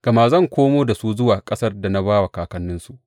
Gama zan komo da su zuwa ƙasar da na ba wa kakanninsu.